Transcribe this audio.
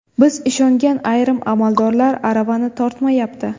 Biz ishongan ayrim amaldorlar aravani tortmayapti.